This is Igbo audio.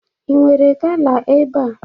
Inwere gala ebe a?